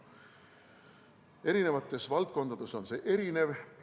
Eri valdkondades on see erinev.